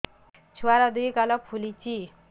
ଛୁଆର୍ ଦୁଇ ଗାଲ ଫୁଲିଚି